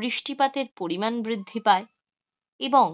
বৃষ্টিপাতের পরিমান বৃদ্ধি পায়. এবং